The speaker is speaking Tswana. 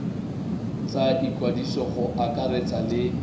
tsa ikwadiso go akaretsa le